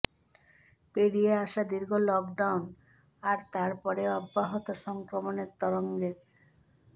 পেরিয়ে আসা দীর্ঘ লকডাউন আর তার পরেও অব্যাহত সংক্রমণের তরঙ্গের